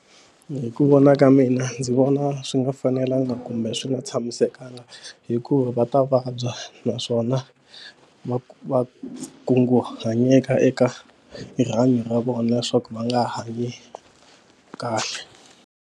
Hi ku vona ka mina ndzi vona swi nga fanelanga kumbe swi nga tshamisekanga hikuva va ta vabya naswona va va kunguhanyeteka eka rihanyo ra vona leswaku va nga hanyi kahle.